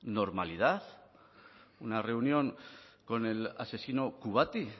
normalidad una reunión con el asesino kubati